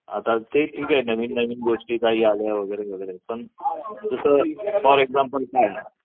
आता ते ठीक आहे नवीन नवीन गोष्टी आले वगैरे पण दुसरीत फॉर एक्झाम्पल काय आहे?